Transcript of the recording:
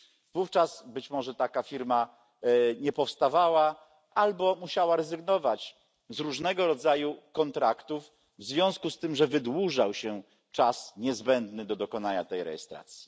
Wówczas, być może, taka firma nie powstawała albo musiała rezygnować z różnego rodzaju kontraktów, ponieważ wydłużał się czas niezbędny do dokonania rejestracji.